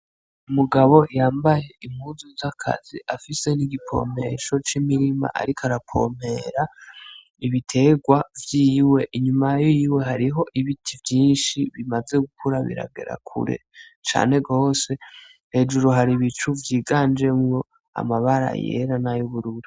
Umugabo yambaye impuzu z'akazi afise n' ikivomesho ariko aravomero ibitegwa vyiwe inyuma yiwe hariho ibiti vyinshi bimaze gukura biragera kure cane gose hejuru hari ibicu vyiganjemwo amabara yera nay'ubururu.